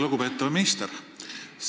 Lugupeetav minister!